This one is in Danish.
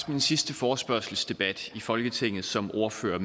min sidste forespørgselsdebat i folketinget som ordfører